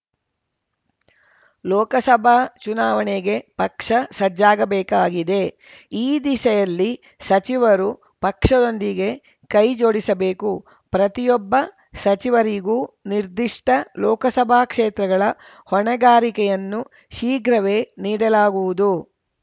ಲೋಕಸಭಾ ಚುನಾವಣೆಗೆ ಪಕ್ಷ ಸಜ್ಜಾಗಬೇಕಿದೆ ಈ ದಿಸೆಯಲ್ಲಿ ಸಚಿವರು ಪಕ್ಷದೊಂದಿಗೆ ಕೈಜೋಡಿಸಬೇಕು ಪ್ರತಿಯೊಬ್ಬ ಸಚಿವರಿಗೂ ನಿರ್ದಿಷ್ಟಲೋಕಸಭಾ ಕ್ಷೇತ್ರಗಳ ಹೊಣೆಗಾರಿಕೆಯನ್ನು ಶೀಘ್ರವೇ ನೀಡಲಾಗುವುದು